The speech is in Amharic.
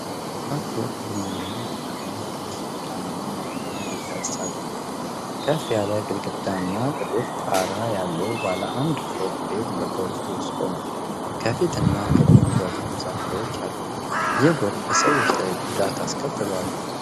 ከባድ ጎርፍ ቡናማ ጭቃማ ውሃ ጎዳናውን ሞልቶ እንዲፈስ አድርጓል። ከፍ ያለ ግድግዳና ጥቁር ጣራ ያለው ባለ አንድ ፎቅ ቤት በጎርፍ ውስጥ ቆሟል። ከፊትና ከጎን በኩል ዛፎች አሉ። ይህ ጎርፍ በሰዎች ላይ ጉዳት አስከትሏል?